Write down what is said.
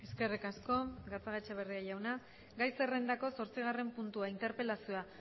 eskerrik asko gatzagaetxeberria jauna gai zerrendako zortzigarren puntua interpelazioa